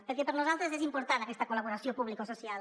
perquè per nosaltres és important aquesta col·laboració publicosocial